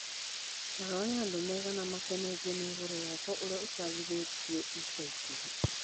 Ta rora nĩ andu aigana makenetio ni ũhoro wakwa uria úcabithia ica ikuhĩ.